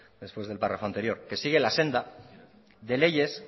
después del párrafo anterior que sigue la agenda de leyes